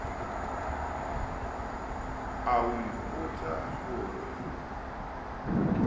a o ipotsa ho re